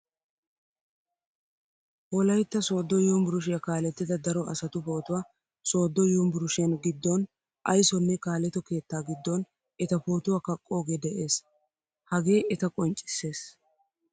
Wolaytta sodo yunvurshiyaa kaalettida daro asatu pootuwaa sodo yunvurshiyan giddon ayssonne kaaletto keetta giddon eta pootuwaa kaqqoge de'ees. Hage eta qonccissees.